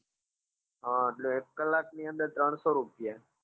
હા તો એક કલાક ની અંદર ત્રણસો રૂપિયા